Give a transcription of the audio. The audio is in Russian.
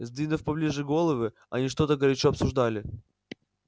сдвинув поближе головы они что-то горячо обсуждали